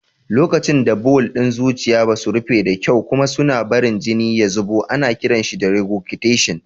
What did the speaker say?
Lokacin da bawul ɗin zuciya ba su rufe da kyau kuma suna barin jini ya zubo, ana kiran shi regurgitation.